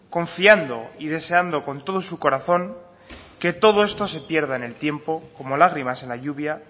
confiando y deseando con todo su corazón que todo esto se pierda en el tiempo como lágrimas en la lluvia